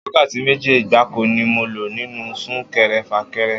Wákàtí méjì gbáko ni mo lò nínú Sún-kẹrẹ-fà-kẹrẹ